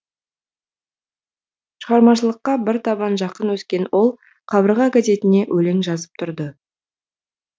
шығармашылыққа бір табан жақын өскен ол қабырға газетіне өлең жазып тұрды